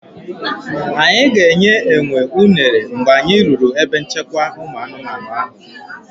Anyị ga-enye enwe uner mgbe anyị ruru ebe nchekwa ụmụ anụmanụ ahụ.